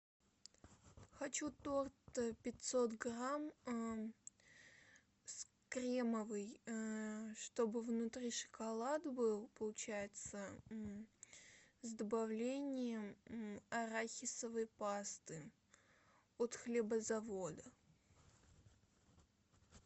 хочу торт пятьсот грамм с кремовый чтобы внутри шоколад был получается с добавлением арахисовой пасты от хлебозавода